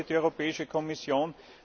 Was wollte die Europäische Kommission?